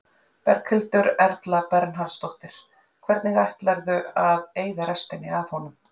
Berghildur Erla Bernharðsdóttir: Hvernig ætlarðu að eyða restinni af honum?